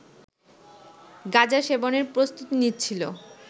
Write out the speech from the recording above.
গাঁজা সেবনের প্রস্তুতি নিচ্ছিল